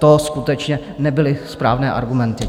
To skutečně nebyly správné argumenty.